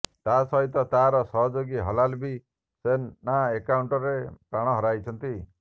ତା ସହିତ ତାର ସହଯୋଗୀ ହିଲାଲ ବି ସେନା ଏନ୍କାଉଣ୍ଟରରେ ପ୍ରାଣ ହରାଇଛି